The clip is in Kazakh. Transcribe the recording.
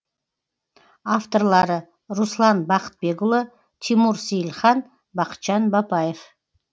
авторлары руслан бақытбекұлы тимур сейілхан бақытжан бапаев